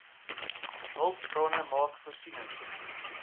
hulpbronne maak voorsiening